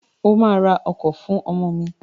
O ma ra ọkọ̀ fún ọmọ mi!